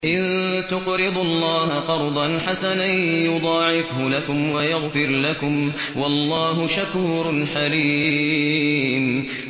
إِن تُقْرِضُوا اللَّهَ قَرْضًا حَسَنًا يُضَاعِفْهُ لَكُمْ وَيَغْفِرْ لَكُمْ ۚ وَاللَّهُ شَكُورٌ حَلِيمٌ